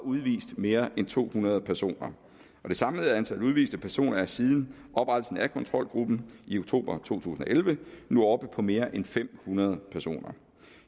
og udvist mere end to hundrede personer og det samlede antal udviste personer er siden oprettelsen af kontrolgruppen i oktober to tusind og elleve nu oppe på mere end fem hundrede personer